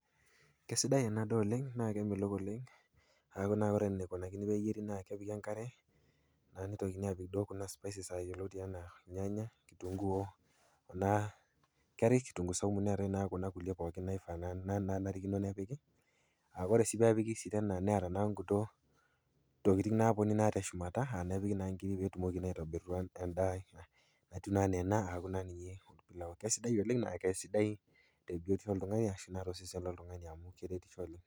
Kesidai ena daa oleng naa kemelok oleng aaku ore eneikuni peeyieri naa kepiki enkare, neitokini aapik kuna spices yioloti anaa ilnyanya, kitunguu kuna garlic-kitunguu saumu neatai naa kuna pookin naifaa nanarikino nepiki. Kure pee epiki sii tena neata nkulie tokitin naapiki teshumata auku naa epiki inkiri petumokini aitobira endaa anaa ena aaku naa ninye aoku sidai oleng tolsesen loltung'ani amu keretisho oleng.